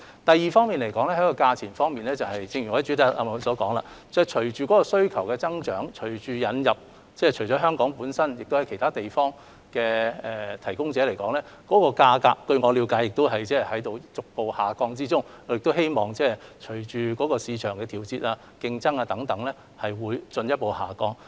第二，在價格方面，正如我在主體答覆提到，隨着需求的增加，以及引入香港以外其他地方的提供者，據我了解，有關價格亦已在逐步下降，我亦希望價格隨着市場的調節和競爭等因素會進一步下降。